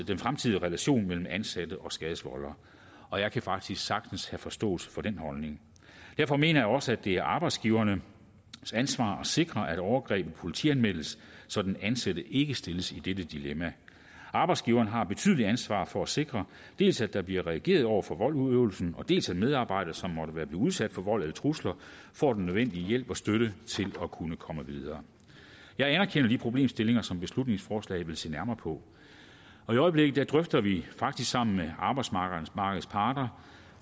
den fremtidige relation mellem den ansatte og skadeforvolderen og jeg kan faktisk sagtens have forståelse for den holdning derfor mener jeg også det er arbejdsgivernes ansvar at sikre at overgrebene politianmeldes så den ansatte ikke stilles i dette dilemma arbejdsgiveren har et betydeligt ansvar for at sikre dels at der bliver reageret over for voldsudøvelsen dels at medarbejdere som måtte være udsat for vold eller trusler får den nødvendige hjælp og støtte til at kunne komme videre jeg anerkender de problemstillinger som beslutningsforslaget vil se nærmere på i øjeblikket drøfter vi faktisk sammen med arbejdsmarkedets parter